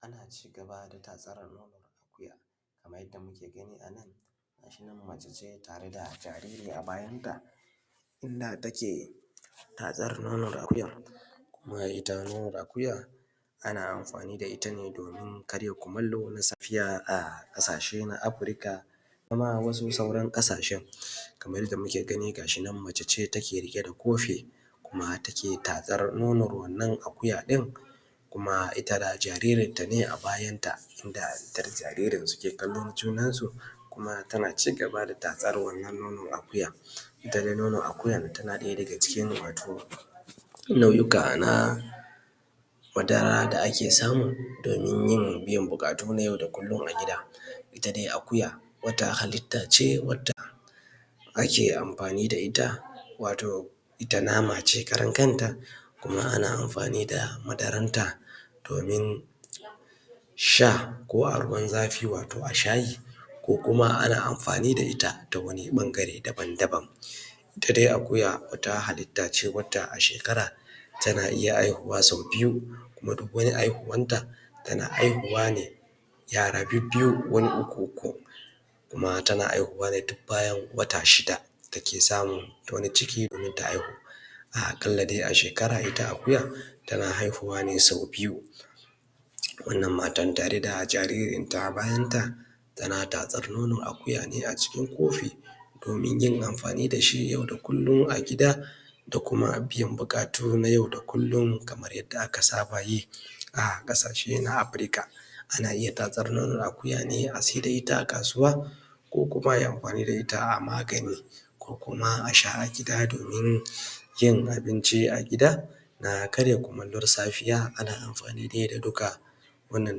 Ana cigaba da tatsar nonon akuya kamar yadda muke gani a nan gashinan mace ce tareda jariri a bayanta inda take tatsar nonon akuyan. Kuma ita nonon akuya ana amfani da itane domin karya kumallo na safiya a ƙasashe na Africa da kuma wasu sauran ƙasashen. Kamar yadda muke gani gashinan mace ce take riƙe da kofi kuma take tatsar nonor wannan akuya ɗin kuma ita da jaririn tane a bayanta, inda ita da jariri suke kallon junansu kuma tana cigaba da tatsar wannan nonon akuya. Ita dai nono akuya tana ɗaya daga cikin wato nau’ika na madara da ake samu domin yin biyan buƙatu na yau da kullm a gida. Ita dai akuya wata halittace wadda ake amfani da ita wato ita namace karan kanta kuma ana amfani da madaran ta domin sha ko a ruwan zafi wato a shayi, ko kuma ana amfani da ita ta wan ɓangare daban-daban. Ita dai akuya wata hallitace wadda a shekara tana iya aihuwa sau biyu, kuma duk wani aihuwanta tana haihuwa ne yara bibbiyu wani uku uku kuma tan aihuwa ne duk bayan wata shida take samun wani ciki domin ta aihu. A ƙalla dai ashekara ita akuyan tana aihuwa ne sau biyu. Wannan matan tare da jaririn ta a bayanta tana tatsar nonon akuya ne a cikin kofi domin yin amfanin dashi yau da kullum a gida da kuma biyan buƙatu na yau da kullum kamar yadda aka sabayi a ƙasashe na Africa. Ana iya tatsar nonon akuya ne a saida ita a kasuwa, ko kuma ai amfani da ita a magani, ko kuma asha a gida domin yin abinci a gida na karya kumallo da safiya ana amfani dai da duka wannan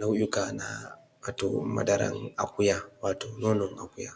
nau’ika na wato madaran akuya wato nonon akuya.